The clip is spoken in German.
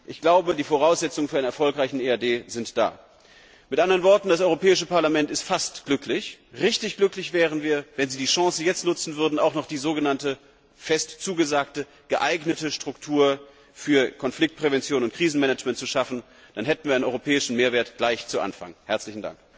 Ich glaube, die Voraussetzungen für einen erfolgreichen EAD sind da. Mit anderen Worten Das Europäische Parlament ist fast glücklich. Richtig glücklich wären wir, wenn Sie die Chance jetzt nutzen und auch noch die sogenannte, fest zugesagte geeignete Struktur für Konfliktprävention und Krisenmanagement schaffen würden, dann hätten wir einen europäischen Mehrwert gleich zu Beginn.